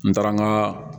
N taara n ka